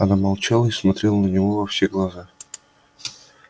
она молчала и смотрела на него во все глаза